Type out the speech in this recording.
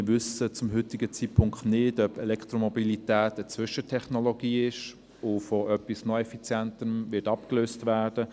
Wir wissen zum heutigen Zeitpunkt nicht, ob Elektromobilität eine Zwischentechnologie ist und von etwas noch effizienterem abgelöst wird.